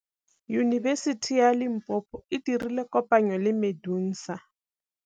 Yunibesiti ya Limpopo e dirile kopanyô le MEDUNSA.